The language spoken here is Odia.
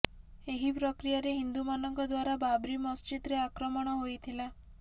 ଏହି ପ୍ରକ୍ରିୟାରେ ହିନ୍ଦୁମାନଙ୍କ ଦ୍ୱାରା ବାବ୍ରି ମସଜିଦରେ ଆକ୍ରମଣ ହୋଇଥିଲା